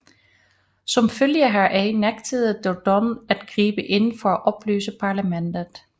Som følge heraf nægtede Dodon at gribe ind for at opløse parlamentet